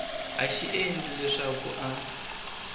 a xi endla leswaku a